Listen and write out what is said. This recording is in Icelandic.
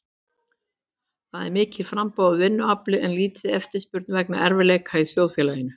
Það er mikið framboð á vinnuafli en lítil eftirspurn vegna erfiðleika í þjóðfélaginu.